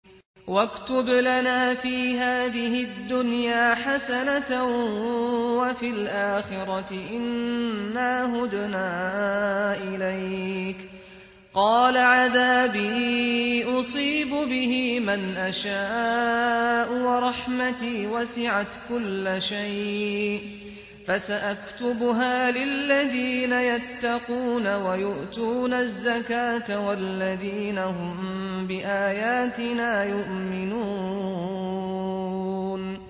۞ وَاكْتُبْ لَنَا فِي هَٰذِهِ الدُّنْيَا حَسَنَةً وَفِي الْآخِرَةِ إِنَّا هُدْنَا إِلَيْكَ ۚ قَالَ عَذَابِي أُصِيبُ بِهِ مَنْ أَشَاءُ ۖ وَرَحْمَتِي وَسِعَتْ كُلَّ شَيْءٍ ۚ فَسَأَكْتُبُهَا لِلَّذِينَ يَتَّقُونَ وَيُؤْتُونَ الزَّكَاةَ وَالَّذِينَ هُم بِآيَاتِنَا يُؤْمِنُونَ